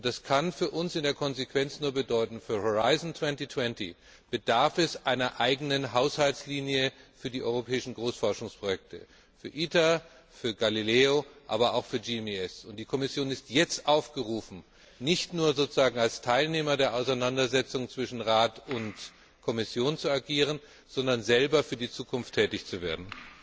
Das kann für uns in der Konsequenz nur bedeuten Für Horizont 2020 bedarf es einer eigenen Haushaltslinie für die europäischen Großforschungsprojekte für ITER, für Galileo, aber auch für GMES. Die Kommission ist jetzt aufgerufen, nicht nur sozusagen als Teilnehmer der Auseinandersetzung zwischen Rat und Kommission zu agieren, sondern selber für die Zukunft tätig zu werden.